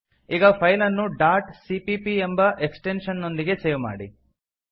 ಈಗ ಫೈಲ್ ಅನ್ನು dot CPP ಎಂಬ ಎಕ್ಸ್ಟೆಂಶನ್ ನೊಂದಿಗೆ ಸೇವ್ ಮಾಡಿ